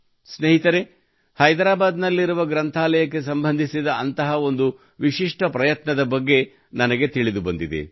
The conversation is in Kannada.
ಸ್ನೇಹಿತರೇ ಹೈದರಾಬಾದ್ನಲ್ಲಿರುವ ಗ್ರಂಥಾಲಯಕ್ಕೆ ಸಂಬಂಧಿಸಿದ ಅಂತಹ ಒಂದು ವಿಶಿಷ್ಟ ಪ್ರಯತ್ನದ ಬಗ್ಗೆ ನನಗೆ ತಿಳಿದುಬಂದಿದೆ